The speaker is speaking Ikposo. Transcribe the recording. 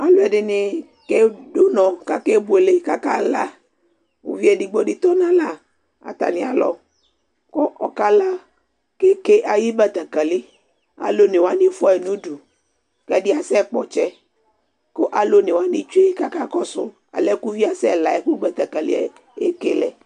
Alu ɛdɩ nɩ ke du'nɔ k'ake buele k'aka la, uvɩ edigbo di tɔ n'ala atami alɔ k'ɔɔka la, k'eke ayi betekeli'e alu one wani fua yi n'udu k'ɛdi asɛ kpɔ'tsɛ ku alu one wani tsue k'aka kɔsu alɛ uvɩ'e asɛ la yɛ ku betekeli'e eke lɛ